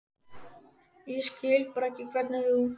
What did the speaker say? Ég skil bara ekki hvernig þú.